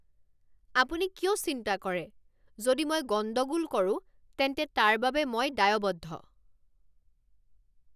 আপুনি কিয় চিন্তা কৰে? যদি মই গণ্ডগোল কৰোঁ তেন্তে তাৰ বাবে মই দায়বদ্ধ।